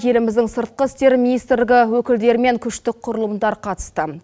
еліміздің сыртқы істер министрлігі өкілдері мен күштік құрылымдар қатысты